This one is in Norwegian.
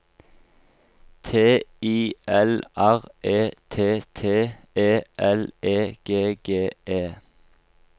T I L R E T T E L E G G E